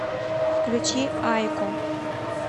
включи айко